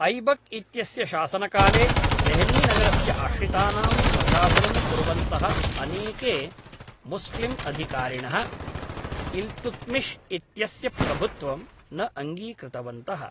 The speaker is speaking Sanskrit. ऐबक् इत्यस्य शासनकाले देहलीनगरस्य आश्रितानां प्रशासनं कुर्वन्तः अनेके मुस्लिम्अधिकारिणः इल्तुत्मिश् इत्यस्य प्रभुत्वं न अङ्गीकृतवन्तः